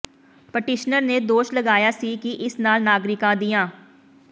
petitioner ਨੇ ਦੋਸ਼ ਲਗਾਇਆ ਸੀ ਕਿ ਇਸ ਨਾਲ ਨਾਗਰਿਕਾਂ ਦੀਆਂ